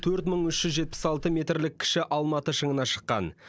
төрт мың үш жүз жетпіс алты метрлік кіші алматы шыңына шыққан